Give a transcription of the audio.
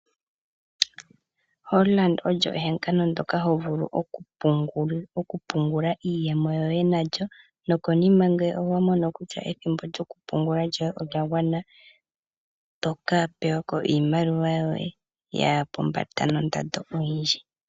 Hollard olyo ehangano ndyoka ho vulu oku pungula iiyemo yoye nalyo, nokonima ngele owa mono kutya ethimbo lyoye lyo kupungula olyagwana, oto ka pewako iimaliwa yoye, yaya pombanda nondando oyindji.